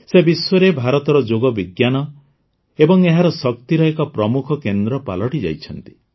ସେ ବିଶ୍ୱରେ ଭାରତର ଯୋଗ ବିଜ୍ଞାନ ଏବଂ ଏହାର ଶକ୍ତିର ଏକ ପ୍ରମୁଖ କେନ୍ଦ୍ର ପାଲଟିଯାଇଛନ୍ତି